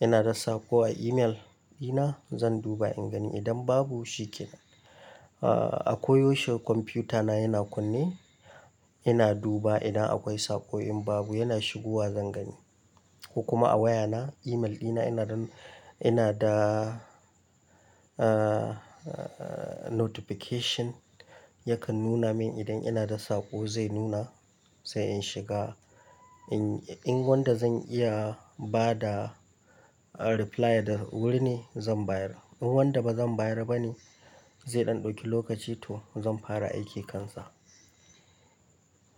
ina da saƙo a email dina zan duba in gani idan babu shiken. A koyaushe kwamfuta na yana kunne, yana duba idan akwai saƙo in babu yana shigowa zan gani. Ko kuma a waya na email dina ina da, ina da ahhh notification yakan nuna min idan ina da saƙo zai nuna sai in shiga. In, in wanda zan iya ba da reply da wurin ne zan bayar. In wanda ba zan bayar ba ne zai ɗauki lokaci to zan fara aiki kansa.